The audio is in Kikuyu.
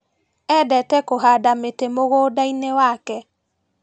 Endete kũhanda mĩtĩ mũgundainĩ wake.